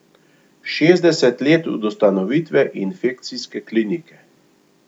Šestdeset let od ustanovitve infekcijske klinike.